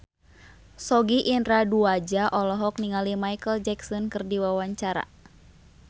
Sogi Indra Duaja olohok ningali Micheal Jackson keur diwawancara